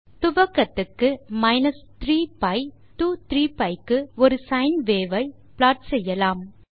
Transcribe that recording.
துவக்கத்துக்கு minus 3 pi to 3 pi க்கு ஒரு sine wave ஐ ப்ளாட் செய்யலாம்